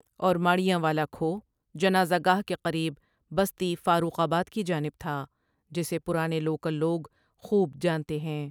اور ماڑیاں والا کھوہ جنازہ گاہ کے قریب بستی فاروق آباد کی جانب تھا جسے پرانےلوکل لوگ خوب جانتے ہیں ۔